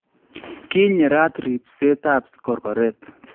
Kinyeraat riibseetaab korkoret